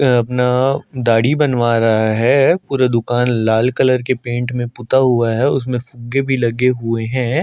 अ अपना दाढ़ी बनवा रहा है पूरा दुकान लाल कलर के पेंट में पुता हुआ है उसमे फुग्गे भी लगे हुए है।